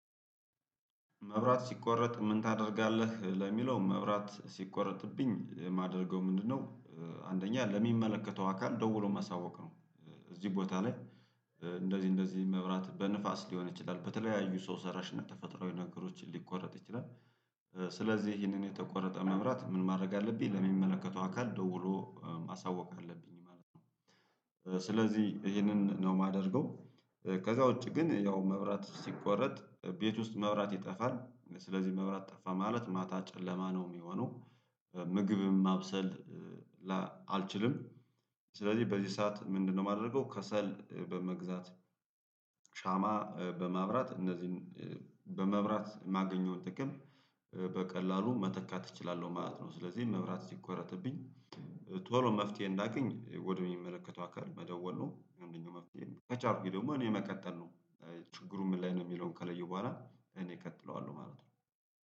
መብራት ሲቆረጥ ምን ታደርጋለህ ለሚለው መብራት ሲቆረጥብኝ የማደርገው ምንድነው? አንደኛ ለሚመለከተው አካል ደውሎ ማሳወቅ ነው። እዚህ ቦታ ላይ። እንደዚህ እንደዚህ መብራት በንፋስ ሊሆን ይችላል በተለያዩ ሰው ሰራሽ እና ተፈጥሮአዊ ነገሮችን ሊቆረጥ ይችላል። ስለዚህ ይህንን የተቆረጠ መብራት ምን ማድረግ አለብኝ ለሚመለከተው አካል ደውሎ ማሳወቅ አለብኝ ማለት ነው። ስለዚህ ይህንን ነው የማደርገው። ከዛ ውጪ ግን ያው መብራት ሲቆረጥ ቤት ውስጥ መብራት ይጠፋል ስለዚህ መብራት ጠፋ ማለት ማታ ጨለማ ነው የሚሆነው። ምግብም ማብሰል። ላ አልችልም። ስለዚህ በዚህ ሰዓት ምንድነው የማደርገው ከሰል በመግዛት ሻማ በማብራት እነዚህን በመብራት የማገኘውን ጥቅም በቀላሉ መተካት እችላለሁ ማለት ነው። ስለዚህ መብራት ሲቆረጥብኝ ቶሎ መፍትሄ እንዳገኝ ወደሚመለከተው አካል መደወል ነው። አንደኛው መፍትሄ ከቻልኩኝ ደግሞ እኔ መቀጠል ነው። ችግሩ ምን ላይ ነው የሚለውን ከለየው በኋላ እኔ እቀጥለዋለሁ ማለት ነው።